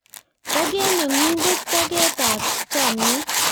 Toket ne ng'un ko toget ab chamiet